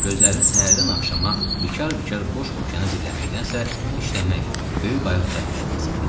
Gözlərini səhərdən axşama bikar-bikar boş okeana dilləməkdənsə, işləmək, böyük qayıq düzəltmək lazım idi.